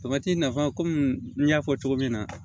nafa kɔmi n y'a fɔ cogo min na